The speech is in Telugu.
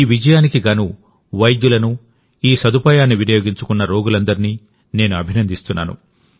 ఈ విజయానికి గాను వైద్యులను ఈ సదుపాయాన్ని వినియోగించుకున్నరోగులందరినీ నేను అభినందిస్తున్నాను